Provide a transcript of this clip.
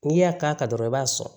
N'i y'a k'a kan dɔrɔn i b'a sɔn